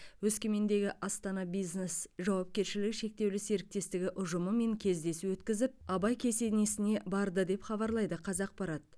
өскемендегі астана бизнес жауапкершілігі шектеулі серіктестігі ұжымымен кездесу өткізіп абай кесенесіне барды деп хабарлайды қазақпарат